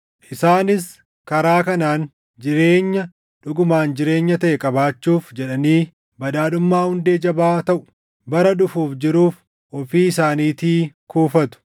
Isaanis karaa kanaan jireenya dhugumaan jireenya taʼe qabaachuuf jedhanii badhaadhummaa hundee jabaa taʼu bara dhufuuf jiruuf ofii isaaniitii kuufatu.